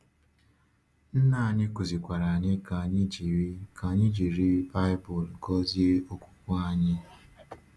Nna anyị kụzikwara anyị ka anyị jiri ka anyị jiri Baịbụl gọzie okwukwe anyị.